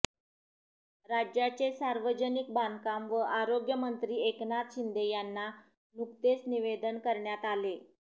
राज्याचे सार्वजनिक बांधकाम व आरोग्यमंत्री एकनाथ शिंदे यांना नुकतेच निवेदन देण्यात आले